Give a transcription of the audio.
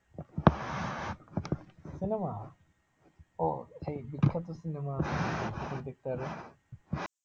cinema ও এই বিখ্যাত cinema দেখতে পারবে?